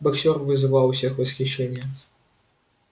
боксёр вызывал у всех восхищение